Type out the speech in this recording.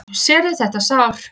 Sérðu þetta sár?